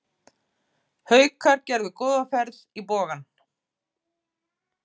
Haukar gerðu góða ferð í Bogann